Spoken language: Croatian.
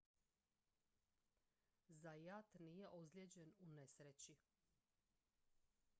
zayat nije ozlijeđen u nesreći